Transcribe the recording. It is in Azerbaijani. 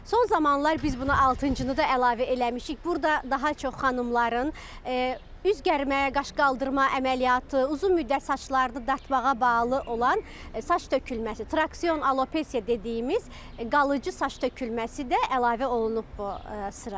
Son zamanlar biz buna altıncını da əlavə eləmişik, burda daha çox xanımların üz gərmə, qaş qaldırma əməliyyatı, uzun müddət saçlarını dartmağa bağlı olan saç tökülməsi, traksion alopesiya dediyimiz qalıcı saç tökülməsi də əlavə olunub bu sıraya.